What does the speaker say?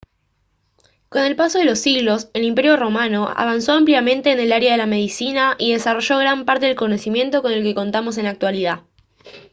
con el paso de los siglos el imperio romano avanzó ampliamente en el área de la medicina y desarrolló gran parte del conocimiento con el que contamos en la actualidad